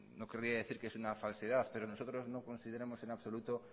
no querría decir que es una falsedad pero nosotros no consideramos en absoluto